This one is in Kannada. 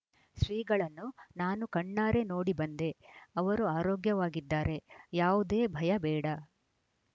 ಶ್ರೀಗಳನ್ನು ನಾನು ಕಣ್ಣಾರೆ ನೋಡಿ ಬಂದೆ ಅವರು ಆರೋಗ್ಯವಾಗಿದ್ದಾರೆ ಯಾವುದೇ ಭಯ ಬೇಡ